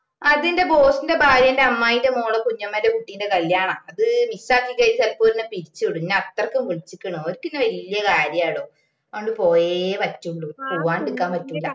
അതെന്റെ boss ഇന്റെ ഭാര്യെന്റെ അമ്മായിന്റെ മോളെ കുഞ്ഞമ്മേന്റെ കുട്ടിന്റെ കല്യാണാ അത് miss ആക്കിക്കഴിഞ്ഞാ ചെലപ്പോ ഒര് എന്നെ പിരിച്ച വിടും എന്നെ അത്രക്കും വിളിച്ചിക്കണു ഓർക്ക് എന്നെ വെല്യ കാര്യാടോ അതോണ്ട് പോയെ പറ്റുള്ളൂ പോവ്വാണ്ട് നിക്കാൻ പറ്റൂല്ല